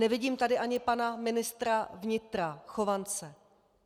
Nevidím tady ani pana ministra vnitra Chovance.